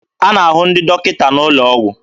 A na-ahụ ndị dọkịta n'ụlọ ọgwụ.